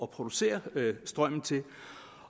producere strømmen